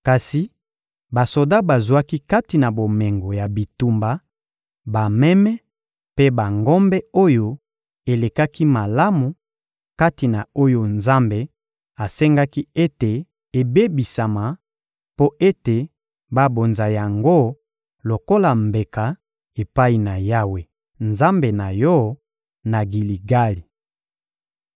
Kasi basoda bazwaki kati na bomengo ya bitumba bameme mpe bangombe oyo elekaki malamu kati na oyo Nzambe asengaki ete ebebisama, mpo ete babonza yango lokola mbeka epai na Yawe, Nzambe na yo, na Giligali.